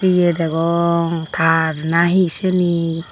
ye degong tar na hi sini.